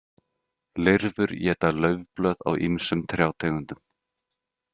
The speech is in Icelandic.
Lirfur éta laufblöð á ýmsum trjátegundum.